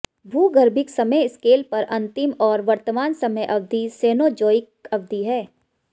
भूगर्भिक समय स्केल पर अंतिम और वर्तमान समय अवधि सेनोज़ोइक अवधि है